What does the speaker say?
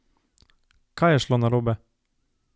Kaj je šlo narobe?